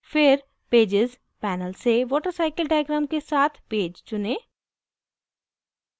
फिर pages panel से watercycle diagram के साथ pages चुनें